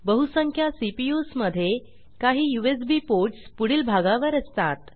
बहुसंख्य सीपीयू मध्ये काही यूएसबी यूएसबी पोर्टस् पुढील भागावर असतात